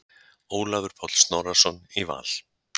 Ólafur Páll Snorrason í Val